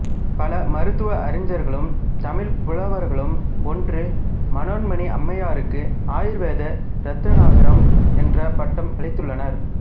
பல மருத்துவ அறிஞர்களும் தமிழ்ப் புலவர்களும் ஒன்று மனோன்மணி அம்மையாருக்கு ஆயுர்வேத ரத்நாகரம் என்ற பட்டம் அளித்துள்ளனர்